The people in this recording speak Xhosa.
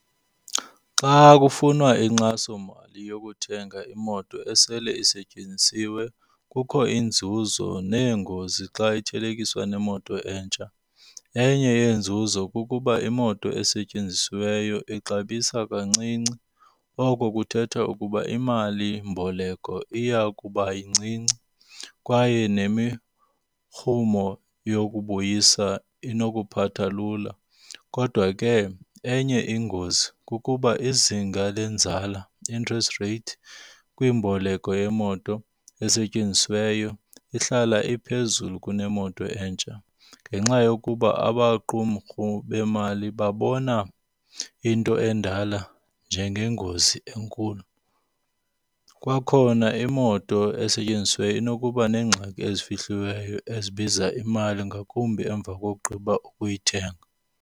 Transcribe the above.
Xa kufunwa inkxasomali yokuthenga imoto esele isetyenzisiwe kukho inzuzo neengozi xa ithelekiswa neemoto entsha. Enye yeenzuzo kukuba iimoto esetyenzisiweyo ixabisa kancinci, oko kuthetha ukuba imalimboleko iya kuba yincinci kwaye nemirhumo yokubuyisa inokuphatha lula. Kodwa ke enye ingozi kukuba izinga lwenzala, interest rate, kwiimboleko yemoto esetyenzisiweyo ihlala iphezulu kunemoto entsha ngenxa yokuba amaqumrhu beemali babona into endala njengengozi enkulu. Kwakhona imoto esetyenzisiweyo inokuba neengxaki ezifihliweyo ezibiza imali ngakumbi emva kokugqiba ukuyithenga.